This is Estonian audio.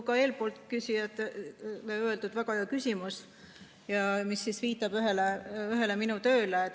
Ka eespool oli küsijal väga hea küsimus, mis viitas ühele minu tööle.